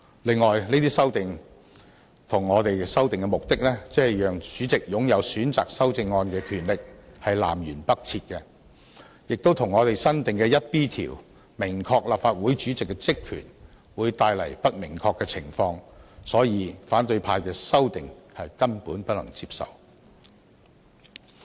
此外，這些修訂與我們修訂的目的，即讓主席擁有選擇修正案的權力南轅北轍，亦與我新訂的第 1B 條以訂明立法會主席的職權，帶來不明確的情況，所以反對派的修訂根本不能接受。